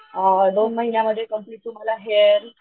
अ दोन महिन्यात कंप्लेंट तुम्हाला हेअर,